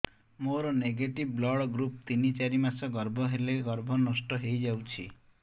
ମୋର negative blood group ତିନ ଚାରି ମାସ ଗର୍ଭ ହେଲେ ଗର୍ଭ ନଷ୍ଟ ହେଇଯାଉଛି